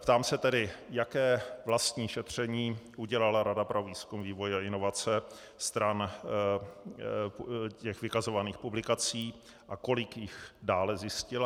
Ptám se tedy, jaké vlastní šetření udělala Rada pro výzkum, vývoj a inovace stran těch vykazovaných publikací a kolik jich dále zjistila.